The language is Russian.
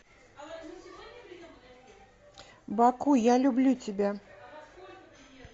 баку я люблю тебя